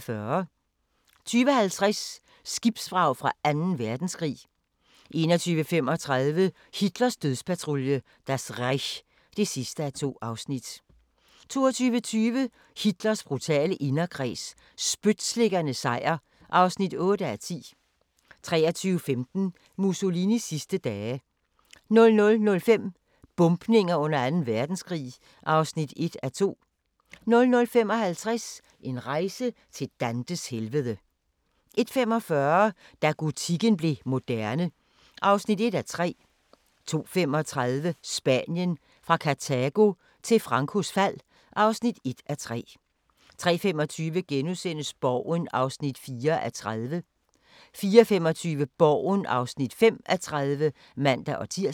20:50: Skibsvrag fra Anden Verdenskrig 21:35: Hitlers dødspatrulje – Das Reich (2:2) 22:20: Hitlers brutale inderkreds – spytslikkernes sejr (8:10) 23:15: Mussolinis sidste dage 00:05: Bombninger under Anden Verdenskrig (1:2) 00:55: En rejse til Dantes helvede 01:45: Da gotikken blev moderne (1:3) 02:35: Spanien – fra Kartago til Francos fald (1:3) 03:25: Borgen (4:30)* 04:25: Borgen (5:30)(man-tir)